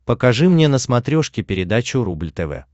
покажи мне на смотрешке передачу рубль тв